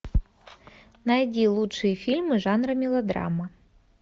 найди лучшие фильмы жанра мелодрама